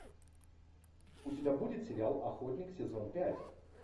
у тебя будет сериал охотник сезон пять